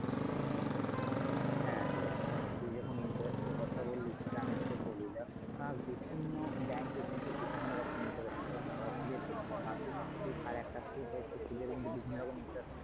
হ্যাঁ দেখ তুই যখন interest এর কথা বললি সেটা আমি তোকে বলি দেখ বিভিন্ন bank এ কিন্তু বিভিন্ন রকমের interest হয় মানে দু রকমের মানে মাসিক কিস্তি আর একটা সুধ হয় সেই সুধের কিন্তু বিভিন্ন রকমের interest হয়.